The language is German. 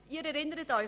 Sie erinnern sich: